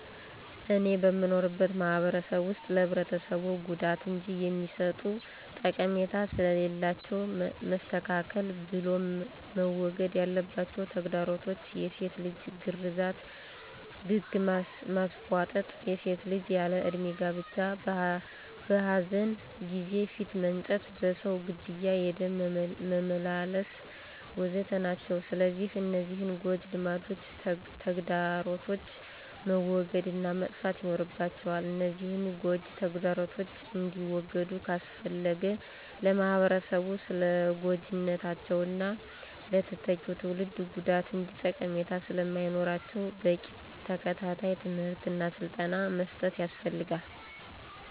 እኔ በምኖርበት ማህበረሰብ ውስጥ ለህብረተሰቡ ጉዳት እንጅ የሚሰጡት ጠቀሜታ ስለሌላቸው መስተካከል ብሎም መወገድ ያለባቸው ተግዳሮቶች፣ የሴት ልጅ ግርዛት፣ ግግ ማስቧጠጥ፣ የሴት ልጅ ያለ እድሜ ጋብቻ፣ በኃዘን ጊዜ ፊት መንጨት፣ በሰው ግድያ የደም መመላለስ፣ ወ.ዘ.ተ... ናቸው። ስለዚህ እነዚህን ጎጅ ልማዶችና ተግዳሮቶች መወገድ እና መጥፋት ይኖርባቸዋል፤ እነዚህን ጎጅ ተግዳሮቶች እንዲወገዱ ካስፈለገ ለማህበረሰቡ ስለጎጅነታቸውና ለተተኪው ትውልድ ጉዳት እንጅ ጠቀሜታ ስለማይኖራቸው በቂ ተከታታይ ትምህርት እና ስልጠና መስጠት ያስፈልጋል።